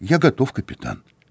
я готов капитан